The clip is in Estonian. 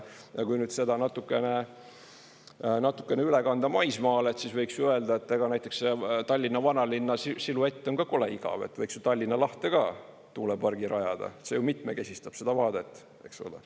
Ja kui nüüd seda natukene üle kanda maismaale, siis võiks ju öelda, et näiteks Tallinna vanalinna siluett on ka kole igav, et võiks ju Tallinna lahte ka tuulepargi rajada, see ju mitmekesistab seda vaadet.